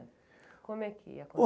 Como é que aconteceu?